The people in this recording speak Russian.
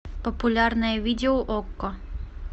популярное видео окко